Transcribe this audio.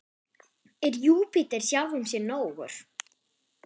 Er Júpíter sjálfum sér nógur?